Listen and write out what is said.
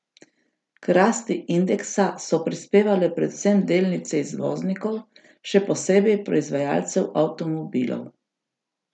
K rasti indeksa so prispevale predvsem delnice izvoznikov, še posebej proizvajalcev avtomobilov.